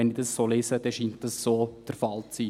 Wenn ich das so lese, scheint dies so der Fall zu sein.